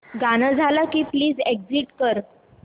गाणं झालं की प्लीज एग्झिट कर